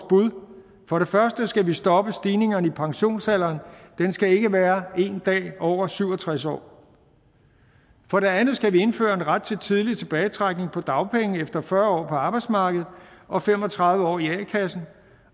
bud for det første skal vi stoppe stigningerne i pensionsalderen den skal ikke være en dag over syv og tres år for det andet skal vi indføre en ret til tidlig tilbagetrækning på dagpenge efter fyrre år på arbejdsmarkedet og fem og tredive år i a kassen